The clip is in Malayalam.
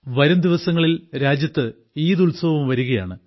വരും ദിവസങ്ങളിൽ രാജ്യത്ത് ഈദ് ഉത്സവവും വരികയാണ്